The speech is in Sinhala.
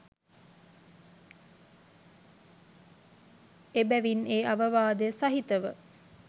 එබැවින් ඒ අවවාදය සහිතව